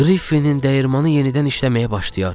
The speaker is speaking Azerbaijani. Griffinın dəyirmanı yenidən işləməyə başlayar.